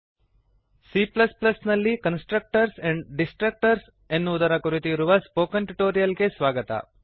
C ನಲ್ಲಿ constructors and destructors constructors ಮತ್ತು destructors ಎನ್ನುವುದರ ಕುರಿತು ಇರುವ ಸ್ಪೋಕನ್ ಟ್ಯುಟೋರಿಯಲ್ ಗೆ ಸ್ವಾಗತ